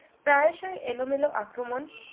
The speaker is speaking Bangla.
প্রায়শই এলোমেলো আক্রমণ